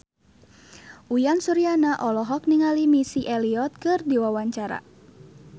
Uyan Suryana olohok ningali Missy Elliott keur diwawancara